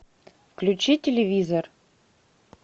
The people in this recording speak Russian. включи телевизор